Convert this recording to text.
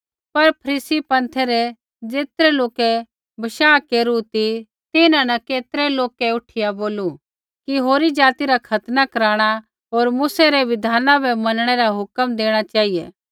पर फरीसी पँथै रै ज़ेतरै लोकै विश्वास केरू ती तिन्हां न केतरै लोक उठिया बोलू कि होरी जाति रा खतना कराणा होर मूसै री मूसै री बिधान बै मनणै रा हुक्म देणा चेहिऐ